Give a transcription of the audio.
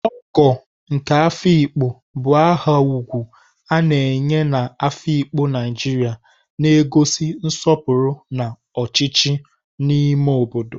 Ogo nke Afikpo bụ aha ugwu a na-enye na Afikpo, Naijiria, na-egosi nsọpụrụ na ọchịchị n'ime obodo.